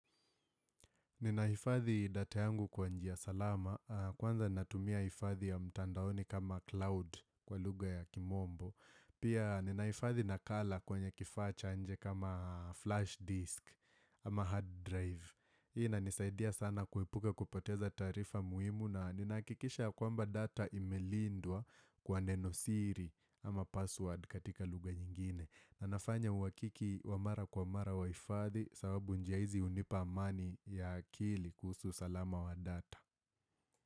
Ninahifadhi data yangu kwa njia salama. Kwanza natumia ifathi ya mtandaoni kama cloud kwa lugha ya kimombo. Pia ninahifadhi nakala kwenye kifaa cha nje kama flash disk ama hard drive. Hii inanisaidia sana kuepuka kupoteza taarifa muhimu na ninahakikisha kwamba data imelindwa kwa nenosiri ama password katika lugha nyingine na nafanya uhakiki wa mara kwa mara wa hifadhi sababu njia izi hunipa amani ya akili kuhusu usalama wa data.